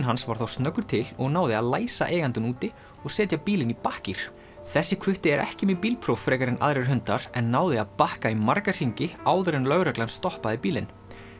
hans var þá snöggur til og náði að læsa eigandann úti og setja bílinn í bakkgír þessi hvutti er ekki með bílpróf frekar en aðrir hundar en náði að bakka í marga hringi áður en lögreglan stoppaði bílinn